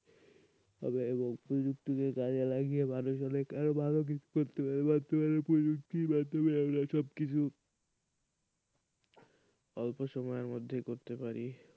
প্রযুক্তিকে কাজে লাগিয়ে মানুষেরা আরো ভালো কিছু করছে বাথরুমে আমরা ঢুকছি বাথরুমে সবকিছু অল্প সময়ের মধ্যে করতে পারি,